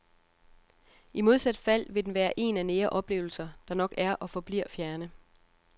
I modsat fald vil den være en af nære oplevelser, der nok er og forbliver fjerne.